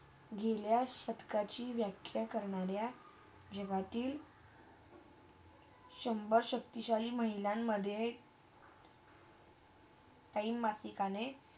गेल्या षटकाचे वाक्य करण्यारा हेवातील शंभर शक्तीशाली महिल्यानंमधे काही मातीकणे